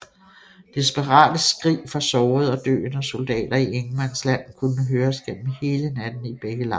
Desperate skrig fra sårede og døende soldater i ingenmandsland kunne høres gennem hele natten i begge lejre